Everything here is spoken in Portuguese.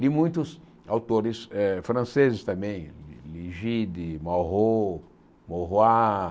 Li muitos autores eh franceses também, Ligide, Mauro, Maurois,